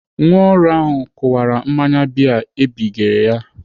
Nwa ọrụ ahụ kụwara mmanya bịa ebigere ya.